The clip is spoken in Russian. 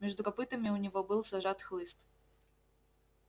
между копытами у него был зажат хлыст